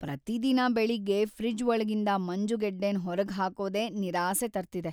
ಪ್ರತಿದಿನ ಬೆಳಿಗ್ಗೆ ಫ್ರಿಜ್ ಒಳಗಿಂದ ಮಂಜುಗಡ್ಡೆನ್ ಹೊರ್ಗೆ ಹಾಕೋದೇ ನಿರಾಸೆ ತರ್ತಿದೆ.